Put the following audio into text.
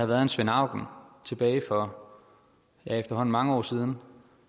været en svend auken tilbage for efterhånden mange år siden